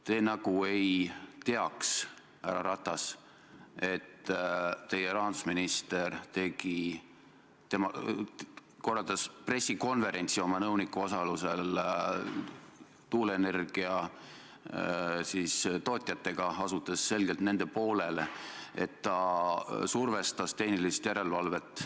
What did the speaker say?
Te nagu ei teaks, härra Ratas, et teie rahandusminister korraldas oma nõuniku osalusel pressikonverentsi tuuleenergia tootjatega, asudes selgelt nende poolele, et ta survestas tehnilist järelevalvet.